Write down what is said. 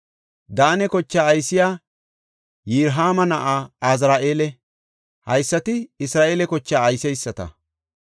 Daane kochaa aysey Yirohaama na7aa Azari7eela. Haysati Isra7eele kochaa ayseysata.